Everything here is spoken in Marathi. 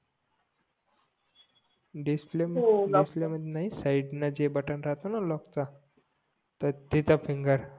डिस्प्ले सैद ला जे बटन राहतो ना लॉक चा तर तिथे फिंगर